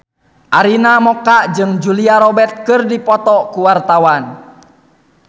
Arina Mocca jeung Julia Robert keur dipoto ku wartawan